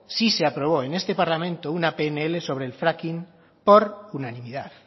sí se aprobó en este parlamento una pnl sobre el fracking por unanimidad